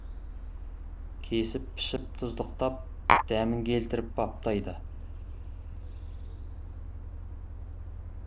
кесіп пішіп тұздықтап дәмін келтіріп баптайды